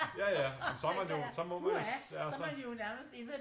Ja ja så man jo så må man jo